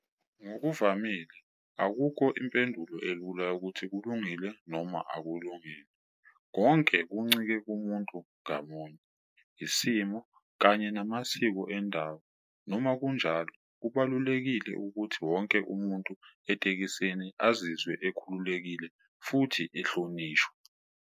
Ngokuvamile akukho impendulo elula yokuthi kulungile noma akulungile, konke kuncike kumuntu ngamunye, isimo kanye namasiko endawo. Noma kunjalo, kubalulekile ukuthi wonke umuntu etekisini azizwe ekhululekile futhi ehlonishwa.